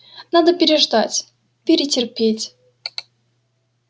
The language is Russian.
надо переждать перетерпеть